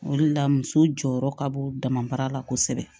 O de la muso jɔyɔrɔ ka bon damabaara la kosɛbɛ